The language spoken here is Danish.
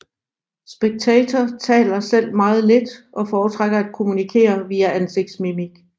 Spectator taler selv meget lidt og foretrækker at kommunikere via ansigtsmimik